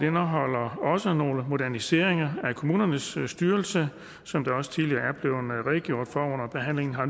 indeholder også nogle moderniseringer af kommunernes styrelse som der også tidligere er blevet redegjort for under behandlingen her